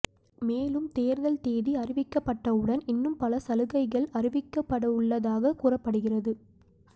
மேலும் தேர்தல் தேதி அறிவிக்கப்பட்டவுடன் இன்னும் பல சலுகைகள் அறிவிக்கப்படவுள்ளதாக கூறப்படுகிறது